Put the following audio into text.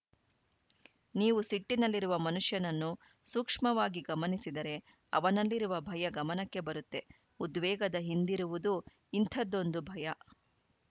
ನೀವು ಸಿಟ್ಟಿನಲ್ಲಿರುವ ಮನುಷ್ಯನನ್ನು ಸೂಕ್ಷ್ಮವಾಗಿ ಗಮನಿಸಿದರೆ ಅವನಲ್ಲಿರುವ ಭಯ ಗಮನಕ್ಕೆ ಬರುತ್ತೆ ಉದ್ವೇಗದ ಹಿಂದಿರುವುದು ಇಂಥದ್ದೊಂದು ಭಯ